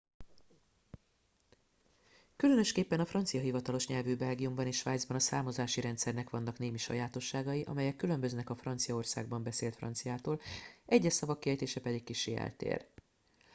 különösképpen a francia hivatalos nyelvű belgiumban és svájcban a számozási rendszernek vannak némi sajátosságai amelyek különböznek a franciaországban beszélt franciától egyes szavak kiejtése pedig kissé eltér